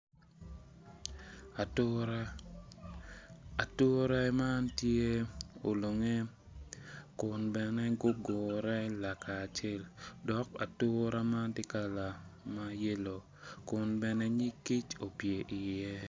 Ature, ature man tye olunge kun bene gugure lakacel dok ature man tye kala ma yelo kun bene nyig kic opye iye.